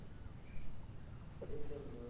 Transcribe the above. એક દમ mast